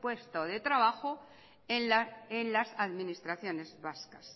puesto de trabajo en las administraciones vascas